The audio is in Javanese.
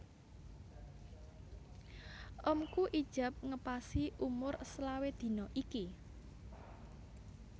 Omku ijab ngepasi umur selawe dino iki